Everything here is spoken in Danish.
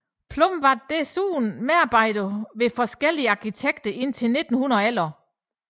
Plum var desuden medarbejder hos forskellige arkitekter indtil 1911